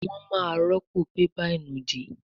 wón má rọpo bébà ìnùdí